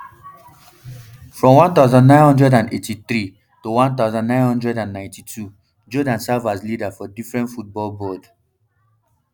from one thousand, nine hundred and eighty-three toone thousand, nine hundred and ninety-two jordaan serve as leader for different football boards